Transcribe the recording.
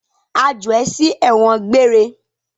A jù ẹ sí ẹ̀wọ̀n gbére!